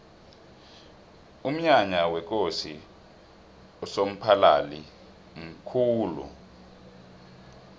umnyanya wekosi usomphalili mkhulu